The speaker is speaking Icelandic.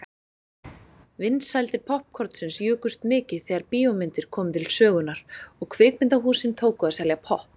Vinsældir poppkornsins jukust mikið þegar bíómyndirnar komu til sögunnar og kvikmyndahúsin tóku að selja popp.